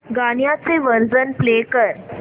गाण्याचे version play कर